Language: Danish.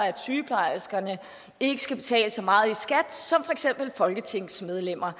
at sygeplejerskerne ikke skal betale så meget i skat som for eksempel folketingsmedlemmer